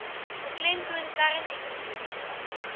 beklemtoon kern ekonomiese